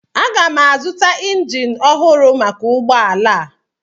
Aga m azụta injin ọhụrụ maka ụgbọ ala a.